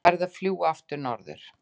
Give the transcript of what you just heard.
Farið að fljúga aftur norður